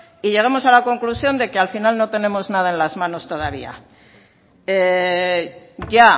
y llegamos a la conclusión de que al final no tenemos nada en las manos todavía ya